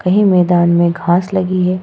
कहीं मैदान में घास लगी है।